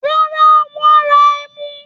Rárá, wọ́n ra ẹmu.